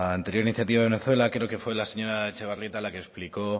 anterior iniciativa de venezuela creo que fue la señora etxebarrieta la que explicó